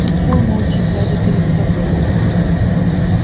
тот шёл молча глядя перед собой